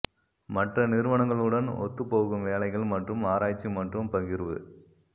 மற்ற நிறுவனங்களுடன் ஒத்துப் போகும் வேலைகள் மற்றும் ஆராய்ச்சி மற்றும் பகிர்வு